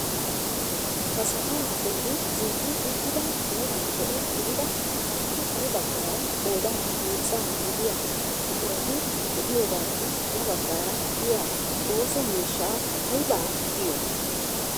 Ha sa'aa bolli zin"i uttida meran zo"o gidida appe kare baggaara qoodan heezzaa gidiyaa buqurati de'iyoogappe ya baggaara diyaa ooso miishshaa aybaa giyoo?